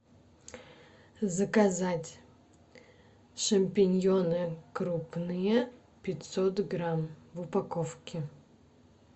заказать шампиньоны крупные пятьсот грамм в упаковке